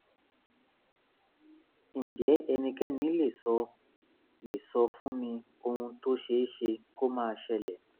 ǹjẹ́ ẹnikẹ́ni lè sọ lè sọ fún mi ohun tó ṣe é ṣe kó máa ṣẹlẹ̀?